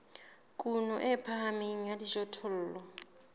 kuno e phahameng ya dijothollo